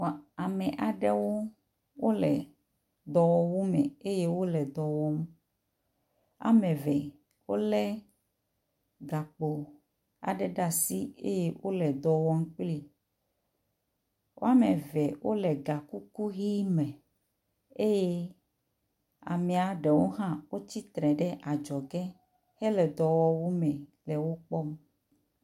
Ame aɖewo wole edɔwɔwu me eye wole dɔ wɔm. Woame eve wolé gakpo aɖe ɖe asi eye wole dɔ wɔm kplii, woame eve wole gakuku ʋɛ̃ me eye ame aɖewo hã wotsi tre ɖe adzɔge hele dɔwɔwu me hele wo kpɔm.